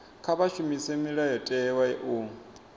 kha vha shumise mulayotewa u